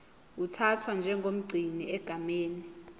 uthathwa njengomgcini egameni